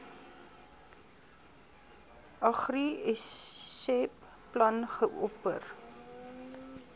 agriseb plan geopper